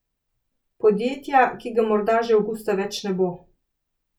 Podjetja, ki ga morda že avgusta več ne bo.